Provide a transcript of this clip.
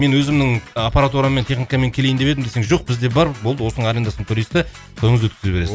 мен өзімнің ы аппаратураммен техникамен келейін деп едім десең жоқ бізде бар болды осының арендасын төлейсіз де тойыңызды өткізе